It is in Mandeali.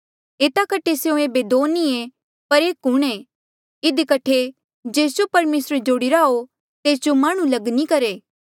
एता कठे स्यों ऐबे दो नी पर एक हूंणे इधी कठे जेस जो परमेसरे जोड़िरा हो तेस जो माह्णुं लग नी करहे